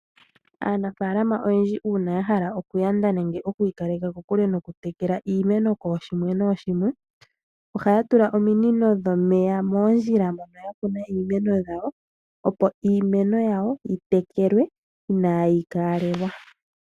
Aanafaalama oyendji uuna yahala okwiikaleka kokule mokutekela iimeno kooshimwe nooshimwe. Ohaya tula mo ominino dhomeya moondjila mono yakuna iimeno yawo opo iimeno iimeno yawo yitekelwe inaayi tekelwa.